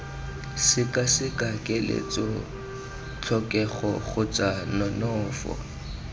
sekaseka keletso tlhokego kgotsa nonofo